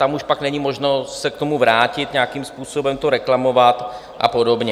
Tam už pak není možnost se k tomu vrátit, nějakým způsobem to reklamovat a podobně.